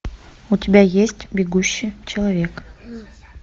у тебя есть бегущий человек